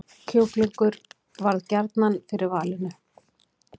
Kjúklingur varð gjarnan fyrir valinu